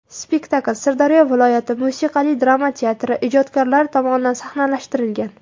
Spektakl Sirdaryo viloyati musiqali drama teatri ijodkorlari tomonidan sahnalashtirilgan.